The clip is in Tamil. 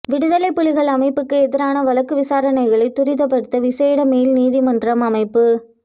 விடுதலைப் புலிகள் அமைப்புக்கு எதிரான வழக்கு விசாரணைகளை துரிதப்படுத்த விசேட மேல் நீதிமன்றம் அமைப்பு